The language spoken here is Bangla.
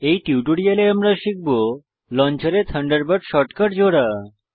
এই টিউটোরিয়ালে আমরা শিখব লঞ্চার এ থান্ডারবার্ড শর্টকাট জোড়া